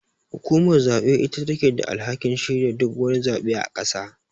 Hukumar zabe ita take da alhakin shirya duk wani zabe a ƙasa.